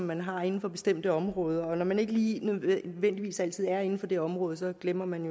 man har inden for bestemte områder og når man ikke lige nødvendigvis altid er inden for det område så glemmer man